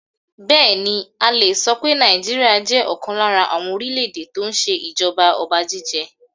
Bẹẹni, a le so pé Nigeria jẹ́ ọ̀kan lára àwọn orílè èdè tó ń ṣe ìjọba ọba jíjẹ.